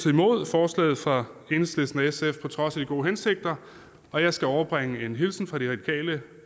imod forslaget fra enhedslisten og sf på trods af de gode hensigter og jeg skal overbringe en hilsen fra de radikale